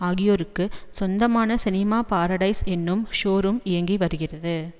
ஆகியோருக்கு சொந்தமான Cinema Paradise என்னும் ஷோரூம் இயங்கி வருகிறது